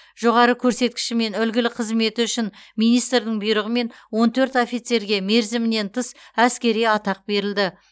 жоғары көрсеткіші мен үлгілі қызметі үшін министрдің бұйрығымен он төрт офицерге мерзімінен тыс әскери атақ берілді